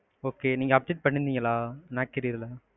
okay நீங்க update பண்ணிங்களா? naukri ல?